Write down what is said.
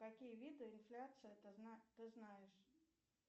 какие виды инфляции ты знаешь